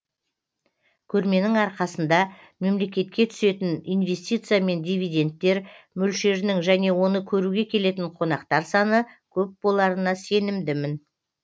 көрменің арқасында мемлекетке түсетін инвестиция мен дивиденттер мөлшерінің және оны көруге келетін қонақтар саны көп боларына сенімдімін